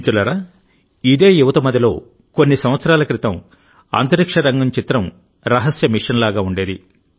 మిత్రులారాఇదే యువతమదిలో కొన్ని సంవత్సరాల క్రితం అంతరిక్ష రంగం చిత్రం రహస్య మిషన్ లాగా ఉండేది